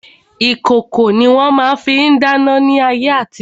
Ìkòkò ni wọ́n fi ma ń dáná ní ayé àtijo.